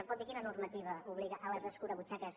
em pot dir quina normativa obliga a les escurabutxaques